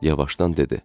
Yavaşdan dedi: